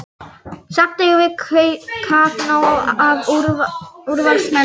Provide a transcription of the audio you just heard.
Samt eigum við kappnóg af úrvalsmönnum.